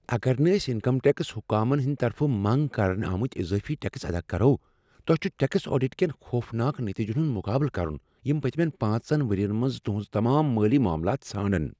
اگر نہٕ أسۍ انکم ٹیکس حکامن ہنٛد طرفہٕ منٛگ کرنہٕ آمت اضٲفی ٹیکس ادا کرو، تۄہہ چھ ٹیکس آڈٹ کین خوفناک نتیٖجن ہنٛد مقابلہٕ کرن یم پٔتۍمین پانٛژن ؤرین منٛز تہنٛز تمام مٲلی معاملات ژھانٛڈن۔